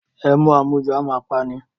Ẹmu àmujù a máa pa ni.